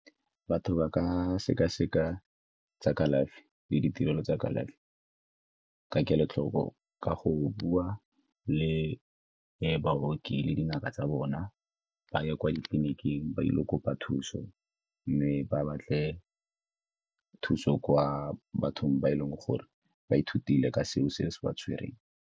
Batho ba ka sekaseka tsa kalafi le ditirelo tsa kalafi ka kelotlhoko ka go bua le baoki le dingaka tsa bona, ba ye kwa ditleliniking ba ile go kopa thuso mme ba batle thuso kwa bathong ba e leng gore ba ithutile ka seo se se ba tshwereng.